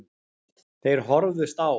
Þeir horfðust á.